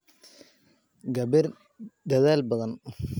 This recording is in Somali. Gabar dadaal badan.